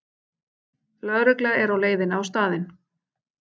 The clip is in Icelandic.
Lögregla er á leiðinni á staðinn